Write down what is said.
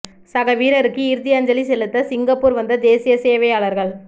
சக வீரருக்கு இறுதி அஞ்சலி செலுத்த சிங்கப்பூர் வந்த தேசிய சேவையாளர்கள்